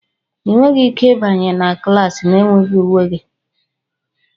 Ị nweghị ike ịbanye na klas na-enweghị uwe gị!